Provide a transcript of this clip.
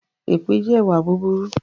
Èpè jẹ́ ìwà búburú